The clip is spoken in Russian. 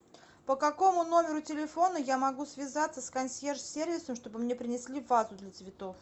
по какому номеру телефона я могу связаться с консьерж сервисом чтобы мне принесли вазу для цветов